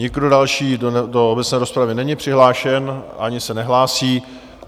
Nikdo další do obecné rozpravy není přihlášen ani se nehlásí.